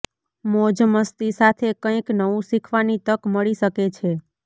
મોજ મસ્તી સાથે કઈક નવું શીખવાની તક મળી શકે છે